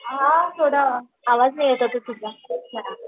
हां थोडं आवाज येत नव्हता तुझा